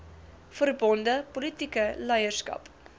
verbonde politieke leierskap